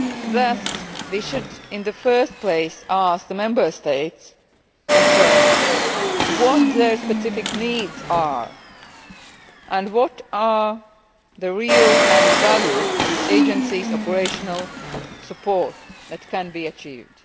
Thus we should in the first place ask the Member States concerned what their specific needs are and what is the real added value of the agency's operational support that can be achieved.